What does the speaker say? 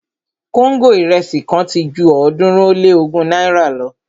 kóńgò irẹsi kan ti ju ọ̀ọ́dúnrún ó lé ogún náírà lọ